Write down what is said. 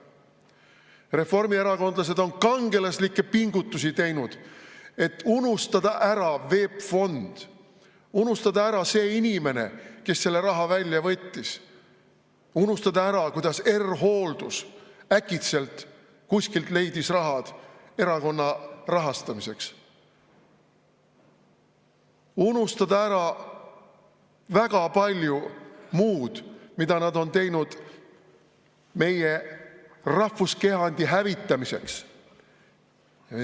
Reformierakondlased on teinud kangelaslikke pingutusi, et unustada ära VEB Fond, unustada ära see inimene, kes selle raha välja võttis, unustada ära, kuidas R-Hooldus äkitselt kuskilt leidis raha erakonna rahastamiseks, unustada ära väga palju muud, mida nad on teinud meie rahvuskehandi hävitamiseks.